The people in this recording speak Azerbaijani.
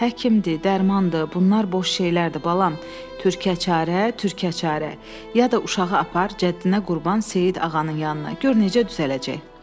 Həkimdir, dərmandır, bunlar boş şeylərdir balam, türkə çarə, türkə çarə, ya da uşağı apar cəddinə qurban Seyid ağanın yanına, gör necə düzələcək.